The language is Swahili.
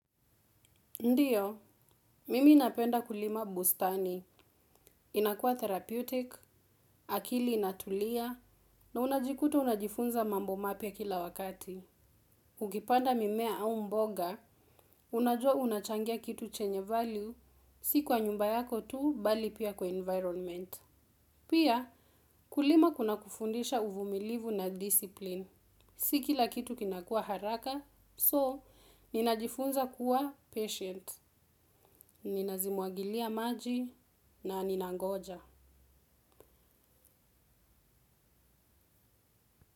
Ndiyo, mimi ninapenda kulima bustani, inakuwa therapeutic, akili inatulia, na unajikuta unajifunza mambo mapya kila wakati. Ukipanda mimea au mboga, unajua unachangia kitu chenye value, si kwa nyumba yako tu, bali pia kwa environment. Pia, kulima kuna kufundisha uvumilivu na discipline. Si kila kitu kinakua haraka, so ninajifunza kuwa patient. Ninazimwagilia maji na ninangoja.